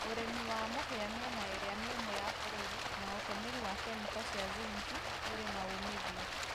ũrĩmĩ wa mũhĩa mĩena ĩrĩa mĩũmũ ya bũrũrĩ na ũtũmĩrĩ wa kemĩko cĩa zĩnkĩ ũrĩ na ũmĩthĩo